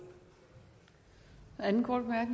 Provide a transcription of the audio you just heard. anden